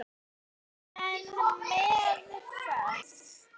Almenn meðferð